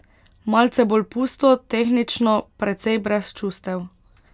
Malce bolj pusto, tehnično, precej brez čustev.